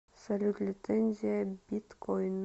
салют лицензия биткойн